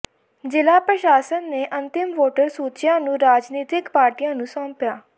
ਜ਼ਿਲਾ ਪ੍ਰਸ਼ਾਸਨ ਨੇ ਅੰਤਿਮ ਵੋਟਰ ਸੂਚੀਆਂ ਨੂੰ ਰਾਜਨੀਤਕ ਪਾਰਟੀਆਂ ਨੂੰ ਸੌਂਪਿਆ